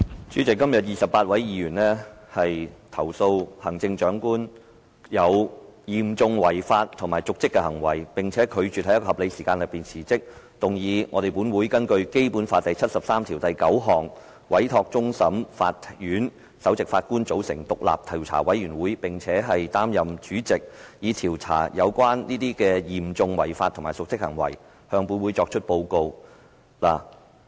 主席，今天28位議員指控行政長官有嚴重違法及瀆職的行為，並拒絕在一個合理的時間內辭職，動議立法會根據《基本法》第七十三條第九項，委托終審法院首席法官組成獨立的調查委員會，並擔任該委員會的主席，以調查有關嚴重違法及瀆職行為及向立法會提出報告。